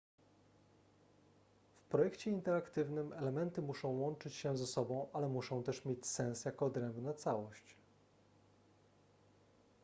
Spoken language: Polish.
w projekcie interaktywnym elementy muszą łączyć się ze sobą ale muszą też mieć sens jako odrębna całość